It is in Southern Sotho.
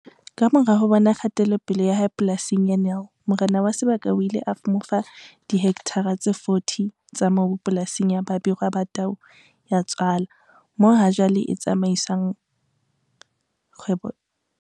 Kamora ho bona kgatelopele ya hae polasing ya Nel morena wa sebaka o ile a mo fa dihektare tse 40 tsa mobu polasing ya Babirwa Ba Tau Ya Tswala moo hajwale a tsamaisang kgwebo ya hae.